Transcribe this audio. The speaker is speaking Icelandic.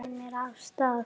Ýtir mér af stað.